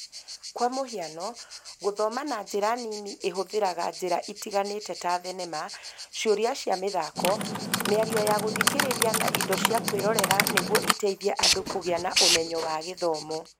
Kwa mũhiano, gũthoma na njĩra nini ĩhũthĩraga njĩra itiganĩte ta thenema, ciũria cia mĩthako, mĩario ya gũthikĩrĩria na indo cia kwĩrorera nĩguo iteithie andũ kũgĩa na ũmenyo wa gĩthomo.